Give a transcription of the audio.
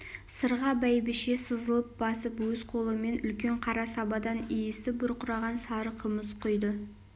сырға бәйбіше сызылып басып өз қолымен үлкен қара сабадан иісі бұрқыраған сары қымыз құйды